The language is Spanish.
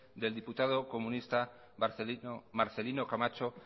del diputado comunista marcelino camacho